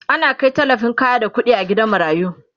ana Kai tallafin kaya da ƙuɗi gidan marayu